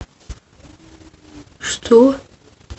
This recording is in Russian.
что